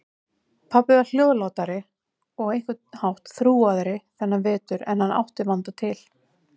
Pabbi var hljóðlátari og á einhvern hátt þrúgaðri þennan vetur en hann átti vanda til.